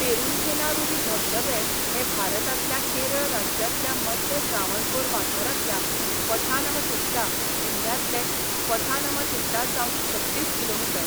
पेरुंथेनारुवी धबधबे हे भारतांतल्या केरळ राज्यांतल्या मध्य त्रावणकोर वाठारांतल्या पठानमथिट्टा जिल्ह्यांतले पठानमथिट्टासावन छत्तीस किमी.